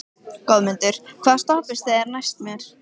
Goðmundur, hvaða stoppistöð er næst mér?